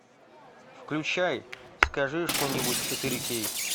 включай скажи что нибудь четыре кей